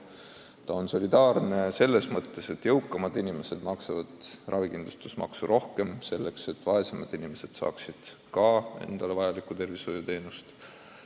Süsteem on ka solidaarne selles mõttes, et jõukamad inimesed maksavad ravikindlustusmaksu rohkem, selleks et vaesemad inimesed saaksid ka vajalikke tervishoiuteenuseid.